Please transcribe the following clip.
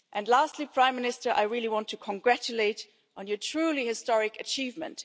this. Lastly, Prime Minister, I really want to congratulate you on your truly historic achievement.